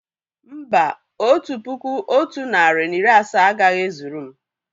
Mbà, otu puku otu narị na iri asaa agaghị e zuru m